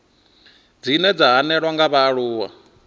dzine dza hanelelwa nga vhaaluwa